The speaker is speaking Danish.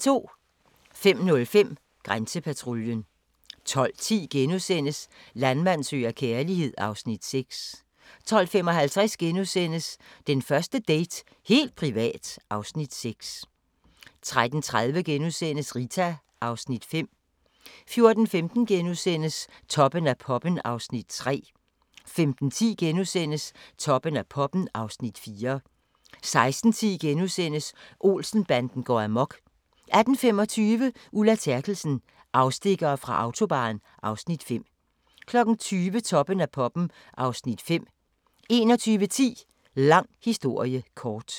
05:05: Grænsepatruljen 12:10: Landmand søger kærlighed (Afs. 6)* 12:55: Den første date - helt privat (Afs. 6)* 13:30: Rita (Afs. 5)* 14:15: Toppen af poppen (Afs. 3)* 15:10: Toppen af poppen (Afs. 4)* 16:10: Olsen-banden går amok * 18:25: Ulla Terkelsen - afstikkere fra Autobahn (Afs. 5) 20:00: Toppen af poppen (Afs. 5) 21:10: Lang historie kort